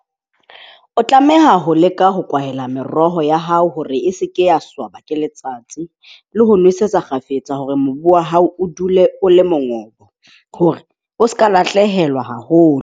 O tlameha ho leka ho kwaela meroho ya hao hore e seke ya swaba ke letsatsi le ho nosetsa kgafetsa hore mobu wa hao o dule o le mongobo, hore o se ka lahlehelwa haholo.